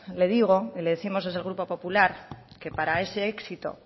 le digo y le décimos desde el grupo popular que para ese éxito